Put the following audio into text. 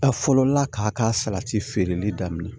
A fɔlɔla k'a ka salati feereli daminɛ